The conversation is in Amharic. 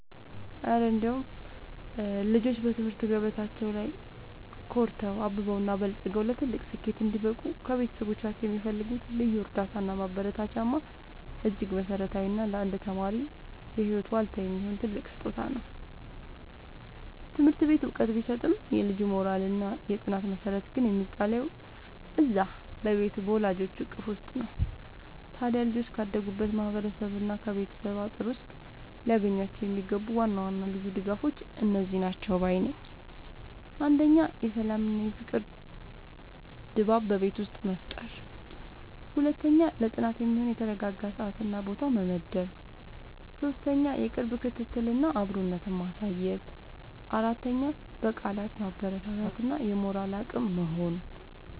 እረ እንደው ልጆች በትምህርት ገበታቸው ላይ ኮርተው፣ አብበውና በልጽገው ለትልቅ ስኬት እንዲበቁ ከቤተሰቦቻቸው የሚፈልጉት ልዩ እርዳታና ማበረታቻማ እጅግ መሠረታዊና ለአንድ ተማሪ የህይወት ዋልታ የሚሆን ትልቅ ስጦታ ነው! ትምህርት ቤት ዕውቀት ቢሰጥም፣ የልጁ የሞራልና የጥናት መሠረት ግን የሚጣለው እዚያው በቤቱ በወላጆቹ እቅፍ ውስጥ ነው። ታዲያ ልጆች ካደጉበት ማህበረሰብና ከቤተሰብ አጥር ውስጥ ሊያገኟቸው የሚገቡ ዋና ዋና ልዩ ድጋፎች እነዚህ ናቸው ባይ ነኝ፦ 1. የሰላምና የፍቅር ድባብ በቤት ውስጥ መፍጠር 2. ለጥናት የሚሆን የተረጋጋ ሰዓትና ቦታ መመደብ 3. የቅርብ ክትትልና አብሮነት ማሳየት 4. በቃላት ማበረታታት እና የሞራል አቅም መሆን